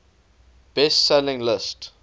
best selling list